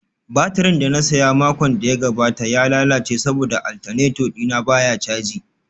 Baturin da na saya a makon da ya gabata ya lalace saboda alternator dina baya caji